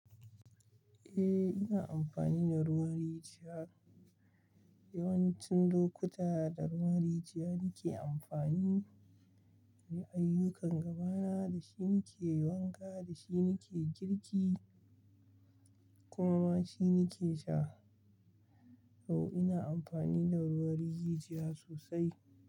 Eh, ina amfani da ruwan rijiya. Yawancin lokuta da ruwan rijiya nike amfani inyi ayyukan gaba na dashi nike wanka, dashi nike girki kuma ma shi nike sha. Oh, ina amfani da ruwan rijiya sosai.